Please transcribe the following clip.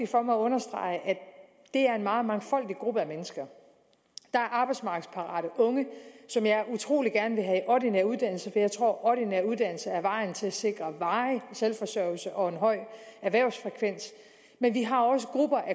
for mig at understrege at det er en meget mangfoldig gruppe af mennesker der er arbejdsmarkedsparate unge som jeg utrolig gerne vil have i ordinær uddannelse for jeg tror at ordinær uddannelse er vejen til at sikre varig selvforsørgelse og en høj erhvervsfrekvens men vi har også grupper af